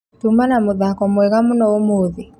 Tuma na mũthako mwega mũno ũmũthi